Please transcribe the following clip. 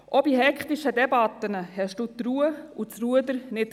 Auch in hektischen Debatten verloren Sie die Ruhe und das Ruder nie.